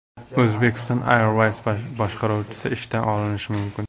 Uzbekistan Airways boshqaruvchisi ishdan olinishi mumkin.